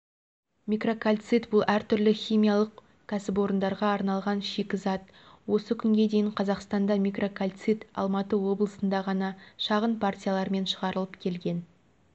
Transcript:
микрокальцит бұл әртүрлі химиялық кәсіпорындарға арналған шикізат осы күнге дейін қазақстанда микрокальцит алматы облысында ғана шағын партиялармен шығарылып келген